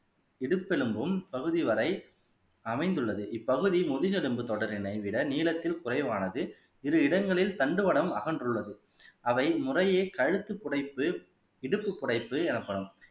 இடுப்பு எலும்பும் பகுதி வரை அமைந்துள்ளது இப்பகுதி முதுகெலும்பு தொடரினை விட நீளத்தில் குறைவானது இரு இடங்களில் தண்டுவடம் அகன்றுள்ளது அவை முறையே கழுத்து புடைப்பு இடுப்பு புடைப்பு எனப்படும்